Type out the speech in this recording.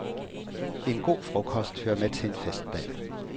En god frokost hører med til en festdag.